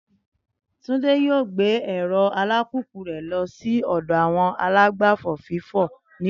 Túndé yóò gbé ẹ̀rọ alùpùpù rẹ̀ lọ sí ọdọ àwọn alágbàfọ̀ fún fífọ̀ ní ọ̀la